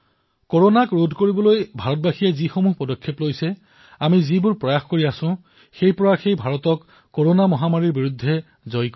কৰনাক প্ৰতিৰোধ কৰিবলৈ যিমানবোৰ পদক্ষেপ ভাৰতবাসীয়ে গ্ৰহণ কৰিছে যি প্ৰয়াস আমি এতিয়া কৰি আছো সেয়াই ভাৰতক কৰনাৰ ওপৰত বিজয় সাব্যস্ত কৰিব